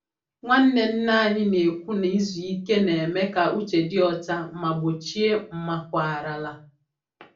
Nwanne nne anyị na-ekwu na izu ike na-eme ka uche dị ọcha ma gbochie mmakwarala.